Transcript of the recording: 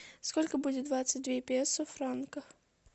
сколько будет двадцать две песо в франках